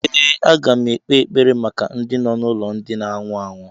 Ee, aga m ekpe ekpere maka ndị nọ n'ụlọ ndị na anwụ anwụ